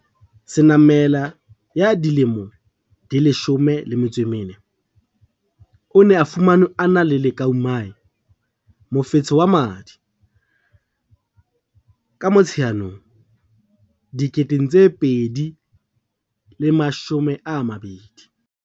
Senamela ya dilemo di 14, o ne a fumanwe a na le leukaemia mofetshe wa madi ka Motsheanong 2020.